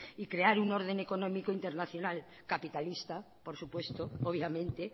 y crear un orden económico internacional capitalista por supuesto obviamente